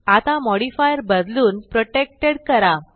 आता मॉडिफायर बदलून प्रोटेक्टेड करा